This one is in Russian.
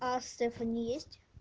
а стефани есть